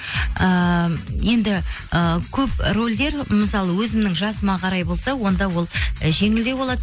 ііі енді ы көп рольдер мысалы өзімнің жасыма қарай болса онда ол і жеңілдеу болады